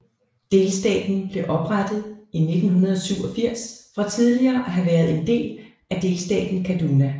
Delstaten blev oprettet i 1987 fra tidligere at have været en del af delstaten Kaduna